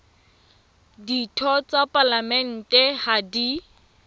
ditho tsa palamente ha di